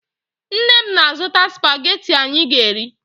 Nne m na-azụta spagetị anyị ga-eri